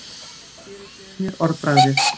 Guð fyrirgefi mér orðbragðið.